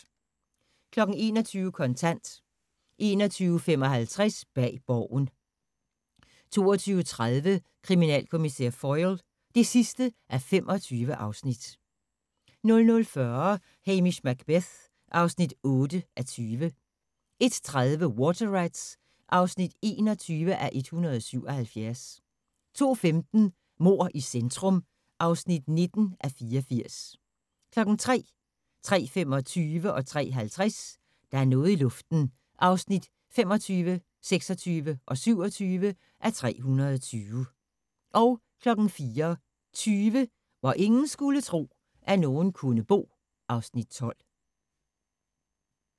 21:00: Kontant 21:55: Bag Borgen 22:30: Kriminalkommissær Foyle (25:25) 00:40: Hamish Macbeth (8:20) 01:30: Water Rats (21:177) 02:15: Mord i centrum (19:84) 03:00: Der er noget i luften (25:320) 03:25: Der er noget i luften (26:320) 03:50: Der er noget i luften (27:320) 04:20: Hvor ingen skulle tro, at nogen kunne bo (Afs. 12)